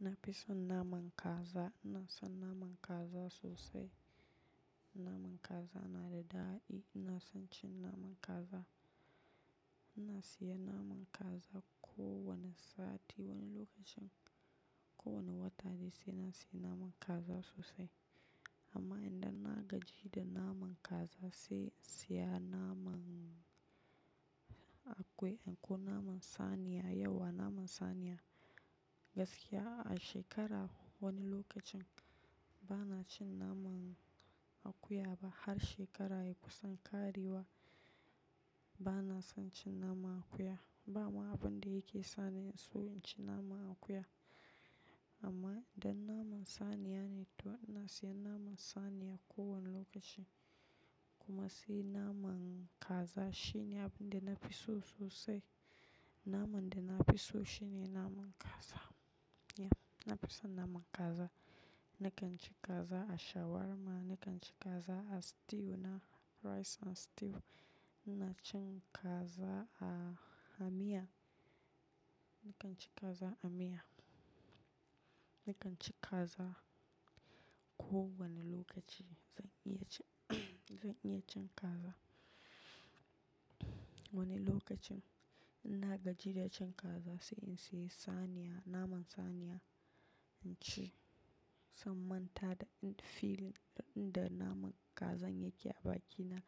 Na fi son naman kaza. Ina son naman kaza sosai. Naman kaza yana da daɗi. Ina son cin naman kaza. Ina siya naman kaza ko wane sati, wani lokacin ko wane wata ne sai na siya naman kaza sosai. Amma idan na gaji da naman kaza sai in siya naman akuya ko naman saniya yauwa. Naman saniya gaskiya a shekara wani lokacin ba na cin naman akuya ba. Har shekara ya kusan ƙarewa ba na son cin naman akuya. Ba ma abin da yake sani in so in ci naman akuya. Amma idan naman saniya ne to ina siya naman saniya ko wane lokaci. Kuma sai naman kaza shine abin da na fi so sosai. Naman da na fi so shine naman kaza. Yeah, na fi son naman kaza. Nakan ci kaza a shawarma, nakan ci kaza a stew na rice and stew. Ina cin kaza a miya. Nakan ci kaza a miya. Nakan ci kaza ko wane lokaci. Zan iya cin-- zan iya cin kaza wani lokacin. Ina gaji da cin kaza sai in siya saniya, naman saniya in ci. Sai in manta da in feel inda naman kazan yake a bakina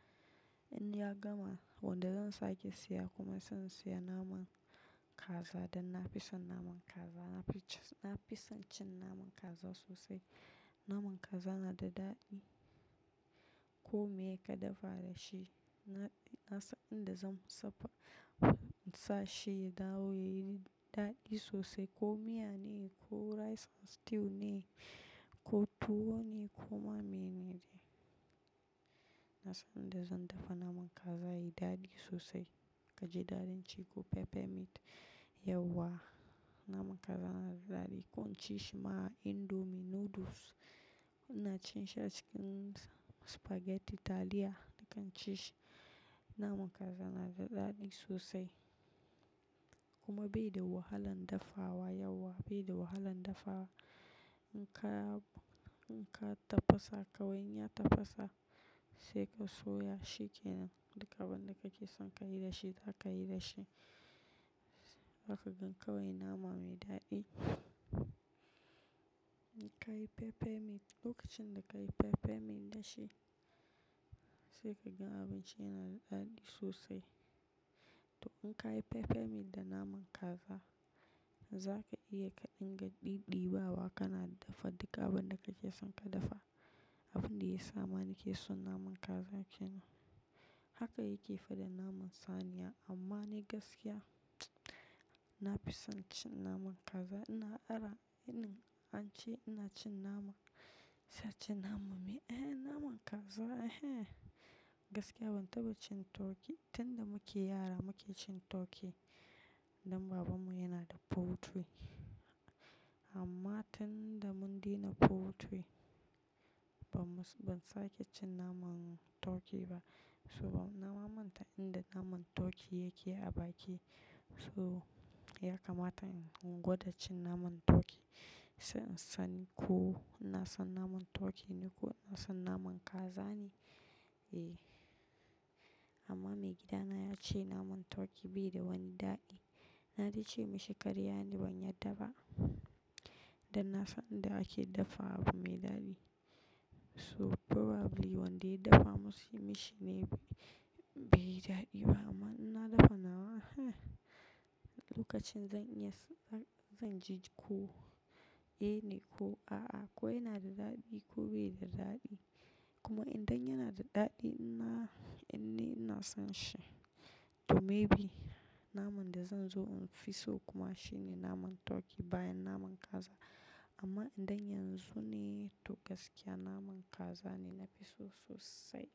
in ya gama, wanda zan sake siya kuma san siya naman kaza dan na fi son naman kaza. Na fi-- na fi son cin naman kaza sosai. Naman kaza yana da daɗi. Ko mai ka dafa da shi na, na san inda zan sapa-- in sa shi ya dawo yayi daɗi sosai. Ko miya ne ko rice and stew ne ko tuwo ne ko ma menene. Na san inda zan dafa naman kaza yayi daɗi sosai. Kaji ɗadin ci ko pepper meat, yauwa. Naman kaza yana da daɗi. Ko in ci shi ma indomie noodles ina cin shi a cikin spaghetti taliya nakan ci shi. Naman kaza na da daɗi sosai. Kuma bai da wahalan dafawa yauwa, bai da wahalan dafawa. In ka, in ka tafasa kawai in ya tafasa sai ka soya shi kenan. Duk abin da kake son ka yi da shi zaka yi da shi. Zaka gan kawai nama mai daɗi. Kayi pepper meat lokacin da ka yi pepper meat da shi sai ka gan abinci yana da daɗi sosai. To in ka yi pepper meat da naman kaza za ka iya ka dinga ɗiɗiɓawa kana dafa duka abin da kake son ka dafa. Abin da ya sa mani ke son naman kaza shine haka yake fi da naman saniya. Amma ni gaskiya na fi son cin naman kaza. Ina ara in an ce ina cin naman-- sai a ce nama me, "Eh naman kaza eh". Gaskiya ban taɓa cin turkey. Tun da muke yara muke cin turkey. Dan babanmu yana da poultry amma tun da mun daina poultry ban mus-- ban sake cin naman turkey ba. So ba-- nama manta inda naman turkey yake a baki so ya kamata in gwada cin naman turkey. Sai in san ko ina son naman turkey ne ko ina son naman kaza ne. Eh. Amma maigidana ya ce naman turkey bai da wani daɗi. Na dai ce mashi karya ne ban yarda ba. Dan na san inda ake dafa abu mai daɗi. So probably wanda ya dafa mashi shi ne bai yi daɗi ba. Amma ina dafa nawa lokacin zan iya s-- zan, zan ji ko eh ne ko a'a. Ko yana da daɗi ko bai da daɗi. Kuma idan yana da daɗi ina-- in ne ina son shi. To maybe naman da zan zo in fi so kuma shine naman turkey bayan naman kaza. Amma idan yanzu ne to gaskiya naman kaza ne na fi so sosai.